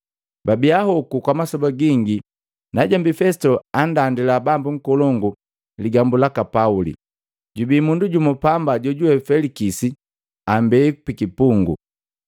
Babia hoku kwa masoba gingi najombi Fesito andandila bambu nkolongu ligambu laka Pauli, “Jubii mundu jumu pamba jojuwe Felikisi ambea pikipungu.